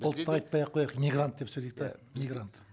ұлтты айтпай ақ қояйық мигрант деп сөйлейік те мигрант